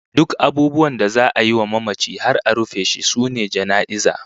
Duk abubuwan da za'a yi wa mamaci har a rufe shi sune jana'iza